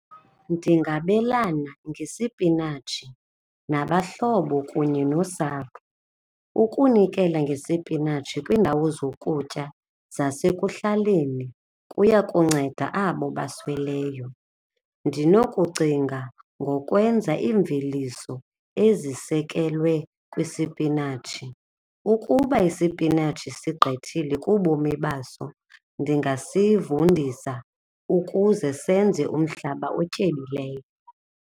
Ndingabelana ngesipinatshi nabahlobo kunye nosapho, ukunikela ngesipinatshi kwiindawo zokutya zasekuhlaleni kuyakunceda abo abasweleyo. Ndinokucinga ngokwenza iimveliso ezisekelwe kwisipinatshi. Ukuba isipinatshi sigqithile kubomi baso ndingasivundisa ukuze senze umhlaba otyebileyo.